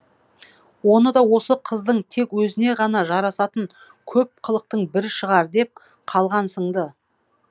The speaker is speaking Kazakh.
оны да осы қыздың тек өзіне ғана жарасатын көп қылықтың бірі шығар деп қалғансың ды